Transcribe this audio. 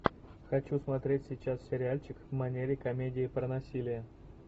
хочу смотреть сейчас сериальчик в манере комедии про насилие